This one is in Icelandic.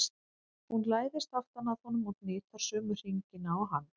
Hún læðist aftan að honum og hnitar sömu hringina og hann.